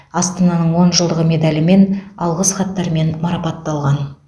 астананың он жылдығы медалімен алғыс хаттармен марапатталған